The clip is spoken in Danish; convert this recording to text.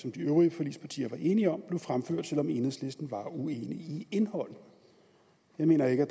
som de øvrige forligspartier var enige om blev fremført selv om enhedslisten var uenig i indholdet jeg mener ikke at